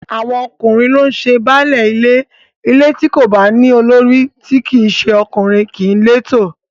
Àwọn ọkùnrin ló ń ṣe baálé ilé, ilé tí kò bá ní olórí tí í ṣe ọkùnrin kìí létò